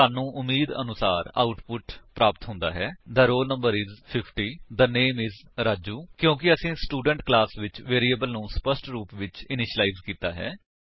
ਸਾਨੂੰ ਉਮੀਦ ਅਨੁਸਾਰ ਆਉਟਪੁਟ ਪ੍ਰਾਪਤ ਹੁੰਦਾ ਹੈ the roll number is 50 the name is Raju ਕਿਉਂਕਿ ਅਸੀਂ ਸਟੂਡੈਂਟ ਕਲਾਸ ਵਿੱਚ ਵੇਰਿਏਬਲ ਨੂੰ ਸਪੱਸ਼ਟ ਰੁਪ ਵਿਚ ਇਨੀਸ਼ਿਲਾਇਜ ਕੀਤਾ ਹੈ